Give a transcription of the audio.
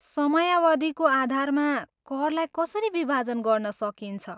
समयावधिको आधारमा करलाई कसरी विभाजन गर्न सकिन्छ?